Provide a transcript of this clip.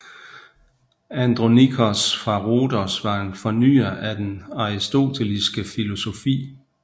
Andronikos fra Rhodos var en fornyer af den aristoteliske filosofi